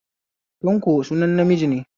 Tanko sunan namiji ne